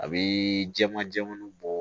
A bi jɛman jɛman bɔ